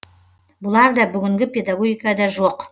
бұлар да бүгінгі педагогикада жоқ